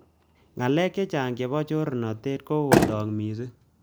Ngalek chechang chebo chornotet kokotok missing